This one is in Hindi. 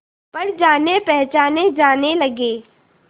पर जानेपहचाने जाने लगे